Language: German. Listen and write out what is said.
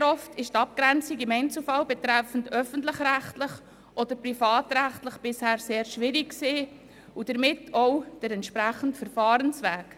Sehr oft war die Abgrenzung im Einzelfall zwischen öffentlich-rechtlich und privatrechtlich bisher sehr schwierig und damit auch der entsprechende Verfahrensweg.